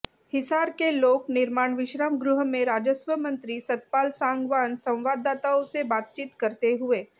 हिसार के लोक निर्माण विश्रामगृह में राजस्व मंत्री सतपाल सांगवान संवाददाताओं से बातचीत करते हुये